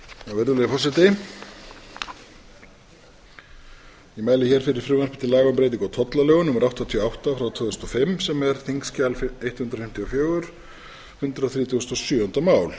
forseti ég mæli hér fyrir frumvarpi til laga um breytingu á tollalögum númer áttatíu og átta tvö þúsund og fimm sem er þingskjal hundrað fimmtíu og fjögur hundrað þrítugasta og sjöunda mál